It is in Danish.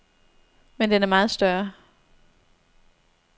Men den er meget større.